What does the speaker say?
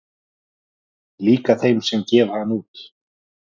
Líka þeim sem gefa hann út.